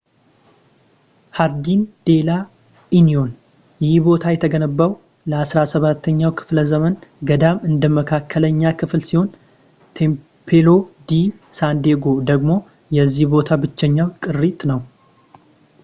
ሃርዲን ዴላ ኢኒዮን ይህ ቦታ የተገነባው ለ17ኛው ክፍለ ዘመን ገዳም እንደ መካከለኛ ክፍል ሲሆን ቴምፕሎ ዲ ሳንዴጎ ደግሞ የዚህ ቦታ ብቸኛው ቅሪት ነው